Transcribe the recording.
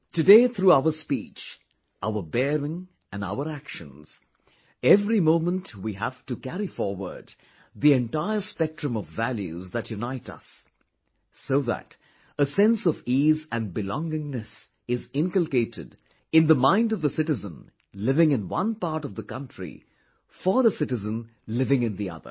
Today through our speech, our bearing and our actions, every moment we have to carry forward the entire spectrum of values that unite us... so that a sense of ease and belongingness is inculcated in the mind of the citizen living in one part of the country for the citizen living in the other